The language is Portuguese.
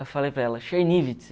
Eu falei para ela, Chernivtsi.